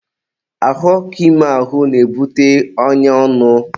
ahụ ọkụ ime ahụ na-ebute ọnya ọnụ.